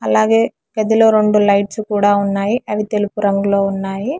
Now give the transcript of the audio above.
అలాగే గదిలో రెండు లైట్స్ కూడా ఉన్నాయి అవి తెలుపు రంగులో ఉన్నాయి.